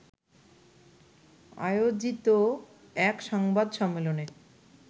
আয়োজিত এক সংবাদ সম্মেলনে